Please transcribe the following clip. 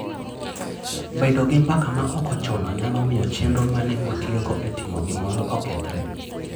Bedo gi mbaka ma ok ochuno nyalo miyo chenro ma ne utiyogo e timo gimoro okethre.